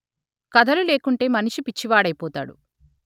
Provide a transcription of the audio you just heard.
కథలు లేకుంటే మనిషి పిచ్చివాడైపోతాడు